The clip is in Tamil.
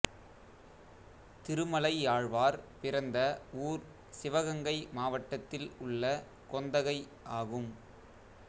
திருமலையாழ்வார் பிறந்த ஊர் சிவகங்கை மாவட்டத்தில் உள்ள கொந்தகை ஆகும்